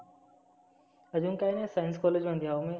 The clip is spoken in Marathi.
आजुन काही नाही science college मध्ये हाव मी.